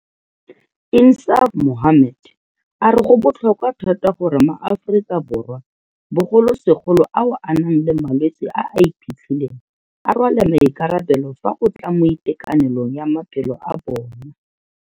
INSAAF MOHAMMED a re go botlhokwa thata gore maAforika Borwa, bogolosegolo ao a nang le malwetse a a iphitlhileng, a rwale maikarabelo fa go tla mo itekanelong ya maphelo a bona.